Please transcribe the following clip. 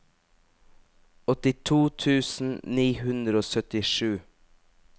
åttito tusen ni hundre og syttisju